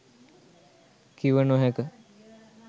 කිව නොහැක.